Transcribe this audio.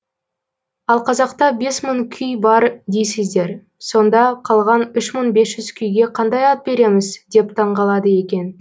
ал қазақта бес мың күй бар дейсіздер сонда қалған үш мың бес жүз күйге қандай ат береміз деп таңғалады екен